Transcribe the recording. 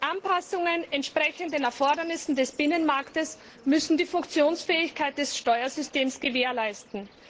Anpassungen entsprechend den Erfordernissen des Binnenmarktes müssen die Funktionsfähigkeit des Steuersystems gewährleisten.